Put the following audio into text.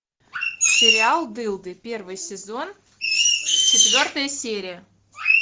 сериал дылды первый сезон четвертая серия